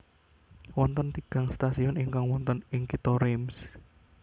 Wonten tigang stasiun ingkang wonten ing Kitha Reims